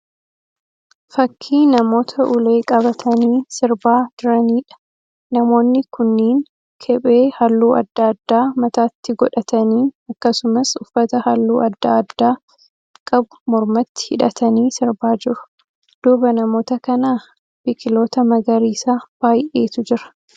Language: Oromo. Fakkii namoota ulee qabatanii sirbaa jiraniidha. Namoonni kunniin kephee halluu adda addaa qabu mataatti godhatanii akkasumas uffata halluu adda addaa qabu mormatti hidhatanii sirbaa jiru. Duuba namoota kanaa biqiloota magariisa baay'eetu jira.